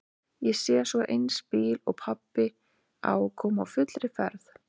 Ég sé svo eins bíl og pabbi á koma á fullri ferð.